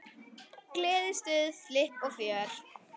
Gleði, stuð, flipp og fjör.